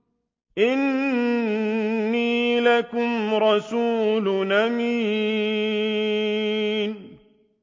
إِنِّي لَكُمْ رَسُولٌ أَمِينٌ